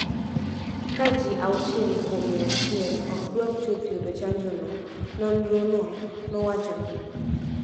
ka ji auchiel kuom mia achiel ok dwar chuth yudo chanjono, nonrono nowacho ni.